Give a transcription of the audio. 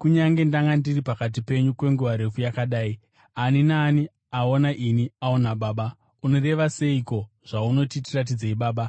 kunyange ndanga ndiri pakati penyu kwenguva refu yakadai? Ani naani aona ini aona Baba. Unoreva seiko zvaunoti, ‘Tiratidzei Baba’